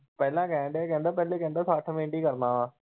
ਪਹਿਲਾ ਕਹਿਣ ਦਿਆ ਸੀ ਪਹਿਲੇ ਕਹਿੰਦਾ ਸੱਠ minute ਈ ਕਰਨਾ ਆ।